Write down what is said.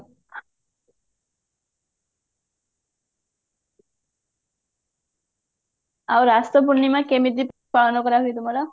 ଆଉ ରାସ ପୁର୍ଣିମା କେମିତି ପାଳନ କରା ହୁଏ ତୁମର